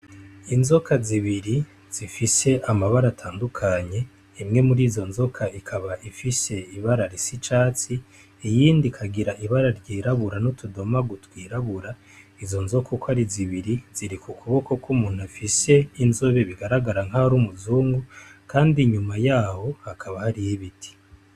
Inzoka zibiri zifise amabara atandukanye, imwe muri izo nzoka ikaba ifise ibara risa icatsi iyindi ikagira ibara ry'irabura n'utudomagu twirabura izo nzoka uko ari zibiri ziri ku kuboko kw'umuntu afise inzobe bigaragara nkaho ari umuzungu kandi inyuma yaho hakaba hariho ibiti.